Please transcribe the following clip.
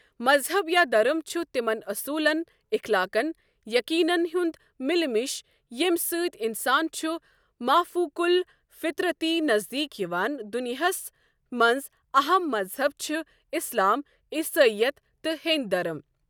مَزہَب یا دَرٕم چھُ تِمَن اوٚصولن، اخلاقن، یٔقیٖنن ہنٛد مِلہ مِش یم سٕتی اِنسان چھ مافوقل الفِطرَتی نَزریٖک یوان دُنیاہَس مَنٛز اَہَم مذہب چھ اسلام، عیٖسٲییَتھ، تہٕ ہؠنٛدؠ درٕم۔